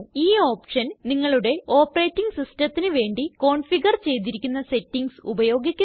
ഈ ഓപ്ഷൻ നിങ്ങളുടെ ഓപ്പറേറ്റിംഗ് systemത്തിന് വേണ്ടി കോൺഫിഗർ ചെയ്തിരിക്കുന്ന സെറ്റിംഗ്സ് ഉപയോഗിക്കുന്നു